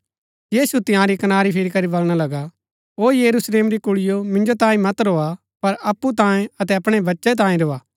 यीशु तंयारी कनारी फिरी करी बलणा लगा ओ यरुशलेम री कुळियों मिन्जो तांई मत रोआ पर अप्पु तांई अतै अपणै बच्चै तांई रोआ